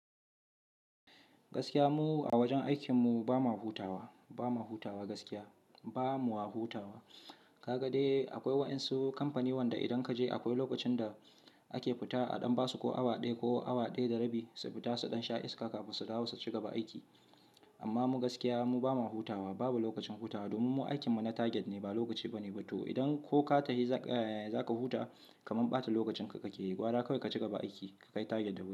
Gaskiya mu a wajen aikin mu ba ma hutawa, ba ma hutawa gaskiya ba mu wa hutawa. Ka ga dai akwai waɗansu kamfani wanda idan ka je akwai lokacin da ake fita a dan ba su ko awa ɗaya ko awa ɗaya da rabi su fita suɗan sha iska kafin su dawo su cigaba aiki. Amma mu gaskiya mu ba ma hutawa babu lokacin hutawa domin mu aikin mu na target ne ba lokaci ba ne. To idan ko ka tashi za ka huta ka man ɓata lokacin ka, ka ke gwara kawai ka cigaba aiki ka kai target din ka.